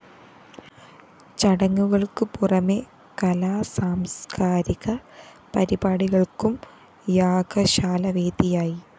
ചടങ്ങുകള്‍ക്കു പുറമെ കലാസാംസ്കാരിക പരിപാടികള്‍ക്കും യാഗശാല വേദിയായി